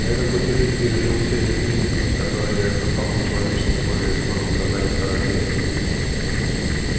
на этом пути люди переживут серию кризисов которые подтолкнут человечество к более скорому созданию второй империи